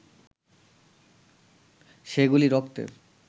সেগুলি রক্তের